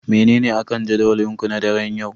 Menene akan jadawalinku na daren yau?